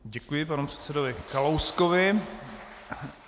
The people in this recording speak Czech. Děkuji panu předsedovi Kalouskovi.